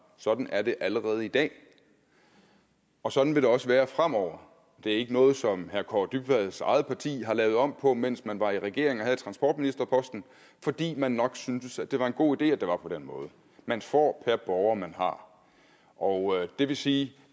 sådan er det allerede i dag og sådan vil det også være fremover det var ikke noget som herre kaare dybvads eget parti lavede om på mens man var i regering og havde transportministerposten fordi man nok syntes det var en god idé at det var på den måde man får per borger man har og det vil sige